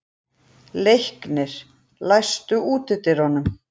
Leiknir, læstu útidyrunum.